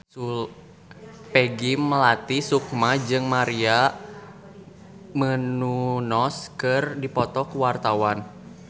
Peggy Melati Sukma jeung Maria Menounos keur dipoto ku wartawan